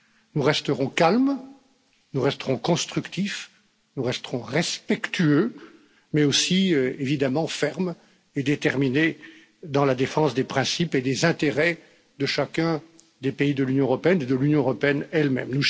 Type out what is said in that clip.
Nous resterons calmes, nous resterons constructifs, nous resterons respectueux mais aussi, évidemment, fermes et déterminés dans la défense des principes et des intérêts de chacun des pays de l'Union européenne et de l'Union européenne elle même.